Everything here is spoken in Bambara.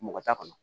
Mɔgɔ t'a kɔnɔ